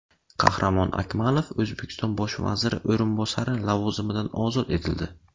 Qahramon Akmalov O‘zbekiston bosh vaziri o‘rinbosari lavozimidan ozod etildi.